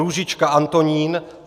Růžička Antonín